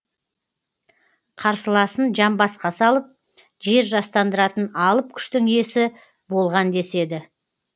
қарсыласын жамбасқа салып жер жастандыратын алып күштің иесі болған деседі